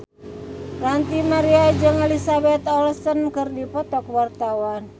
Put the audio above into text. Ranty Maria jeung Elizabeth Olsen keur dipoto ku wartawan